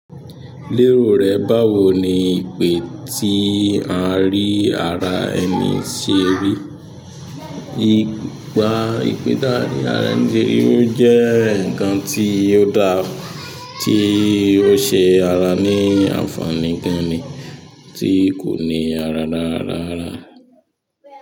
Lérò rẹ báwo ni ìpè tí à ń rí ara ẹni ṣe rí? Í pa ìpè tá ń rí lára ẹní serí ó jẹ́ nǹkan tí ó dára tí ó ṣe ara ní ànfàní gan ni tí kò ní ara lára rárá.